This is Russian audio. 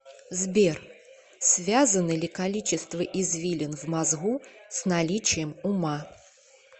сбер связано ли количество извилин в мозгу с наличием ума